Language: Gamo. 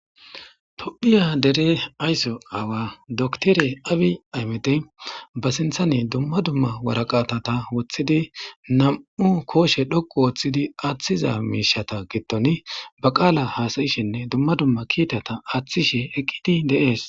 Tophiya dere aysso aawa doktore abi aymede ba sinthane dumma dumma waraqatata woththidi nam'u kooshe dhoqu wooththidi aaththiza miishata gitton ba qaala haasayishinne dumma dumma kiitata aaththishe eqqidi deees